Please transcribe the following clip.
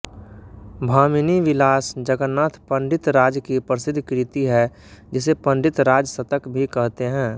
भामिनीविलास जगन्नाथ पण्डितराज की प्रसिद्ध कृति है जिसे पन्डितराजशतक भी कहते हैं